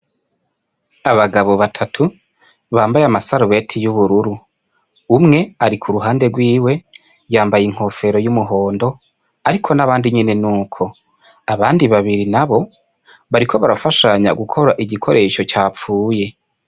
abagabo batatu bambaye amasarubeti y'ubururu, umwe ari kuruhande rwiwe yambaye inkofero y'umuhondo ariko n'abandi nyene n'uko, abandi babiri nabo bariko barafashanya gukora igikoresho capfuye.